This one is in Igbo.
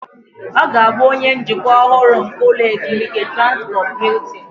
Ọ ga-abụ onye njikwa ọhụrụ nke ụlọ ezumike Transkọp Hiltin